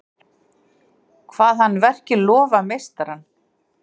Kvað hann verkið lofa meistarann.